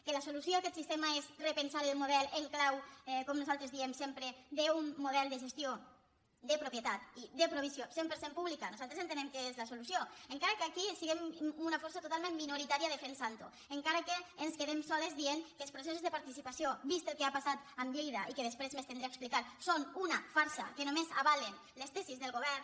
que la solució a aquest sistema és repensar el model en clau com nosaltres diem sempre d’un model de gestió de propietat i de provisió cent per cent públiques nosaltres entenem que és la solució encara que aquí siguem una força totalment minoritària defensantho encara que ens quedem soles dient que els processos de participació vist el que ha passat amb lleida i que després m’estendré a explicar són una farsa que només avalen les tesis del govern